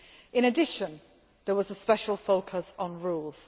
In addition, there was a special focus on rules.